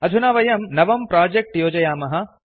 अधुना वयं नवं प्रोजेक्ट् योजयामः